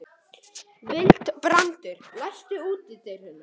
Vilbrandur, læstu útidyrunum.